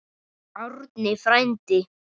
Árni frændi!